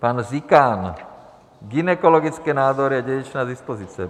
Pan Zikán - gynekologické nádory a dědičné dispozice.